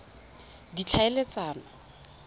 ditlhaeletsano